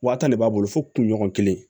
Wa tan de b'a bolo fo kunɲɔgɔn kelen